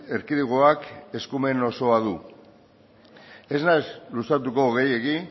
erkidegoak eskumen osoa du ez naiz luzatuko gehiegi